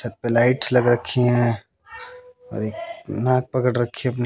छत पे लाइट्स लग रखी हैं और एक नाक पकड़ रखी है अपनी--